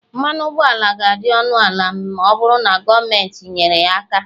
mmanụ ụgbọala ga-adị ọnụ ala ma ọ bụrụ na gọọmenti nyere ya aka